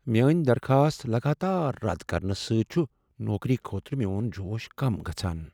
میٲنۍدرخاست لگاتار رد کرنہٕ سۭتۍ چُھ نوکری خٲطرٕ میٛون جوش کم گژھان۔